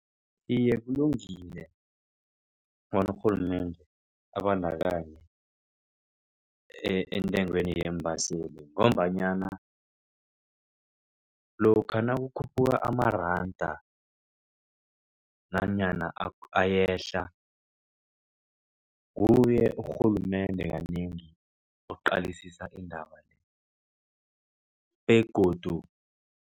Iye, kulungile bona urhulumende abandakanye entengweni yeembaseli ngombanyana lokha nakukhuphuka amaranda nanyana ayehla nguye urhulumende kanengi oqalisisa indaba le begodu.